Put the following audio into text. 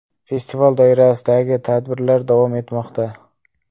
Festival doirasidagi tadbirlar davom etmoqda.